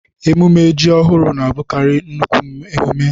Emume ji ọhụrụ na-abụkarị nnukwu emume.